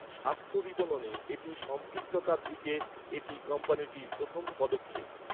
স্বাস্থ্য বিপণনে একটি সম্পৃক্ততার দিকে এটি কোম্পানিটির প্রথম পদক্ষেপ।